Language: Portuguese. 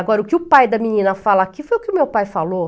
Agora, o que o pai da menina fala aqui foi o que o meu pai falou.